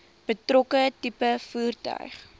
betrokke tipe voertuig